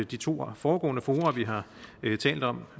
de to foregående fora vi har talt om